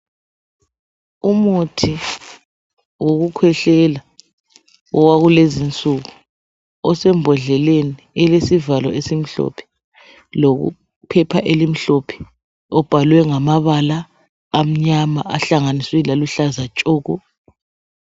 Umuthi wokukhehlela owakulezi nsuku osembodleleni elesivalo esimhlophe lephepha elimhlophe obhalwe ngamabala amnyama ahlanganiswe laluhlaza tshoko.